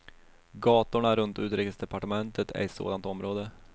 Gatorna runt utrikesdepartementet är ett sådant område.